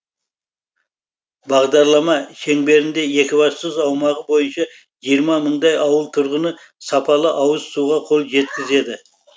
бағдарлама шеңберінде екібастұз аумағы бойынша жиырма мыңдай ауыл тұрғыны сапалы ауыз суға қол жеткізеді